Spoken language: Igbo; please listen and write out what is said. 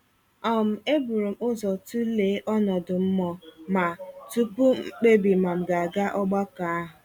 um Eburum ụzọ tụlee ọnọdụ mmụọ ma, tupu m kpebi ma m ga-aga ogbakọ ahụ.